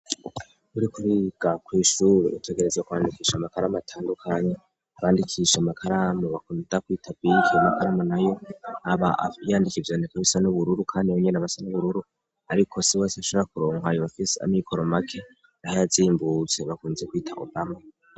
Uri kuriga kw'ishuru utegereza kwandikisha amakaramu atandukanyi abandikisha amakaramu bakunta kwitavikiye amakaramu na yo aba yandika ivyaneku bisa n'ubururu, kandi benyene abasa n'ubururu, ariko si we asi ashara kuronkwaya bafise amikoromake, naho yazimbutse bakunze kwita obama.